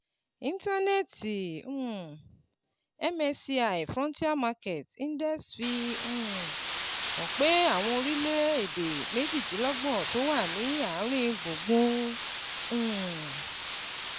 Íńtánẹ́ẹ̀ẹ̀tì um MSCI Frontier Markets Index fi um hàn pé àwọn orílẹ̀-èdè méjìdínlọ́gbọ̀n tó wà ní àárín gbùngbùn um